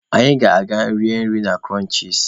Anyị ga-eje rie nri na Kụrọnchis.